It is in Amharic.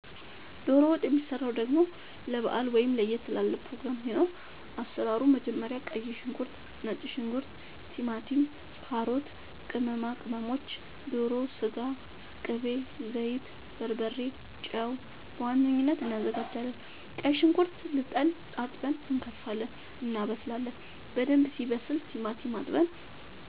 ዶሮ ወጥ የሚሰራው ደሞ ለባአል ወይም ለየት ላለ ፕሮግራም ሲኖር አሰራሩ መጀመሪያ ቀይ ሽንኩርት ነጭ ሽንኩርት ቲማቲም ካሮት ቅመማ ቅመሞች ዶሮ ስጋ ቅቤ ዘይት በርበሬ ጨው በዋነኝነት አናዘጋጃለን ቀይ ሽንኩርት ልጠን አጥበን እንከትፋለን እናበስላለን በደንብ ሲበስል ቲማቲም አጥበን